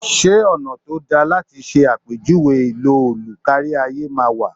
Ṣé ọ̀nà tó dáa láti ṣe àpèjúwe ìlò òlù kárí ayé máa wà?